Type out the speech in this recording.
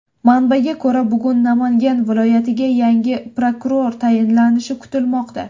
Manbaga ko‘ra, bugun Namangan viloyatiga yangi prokuror tayinlanishi kutilmoqda.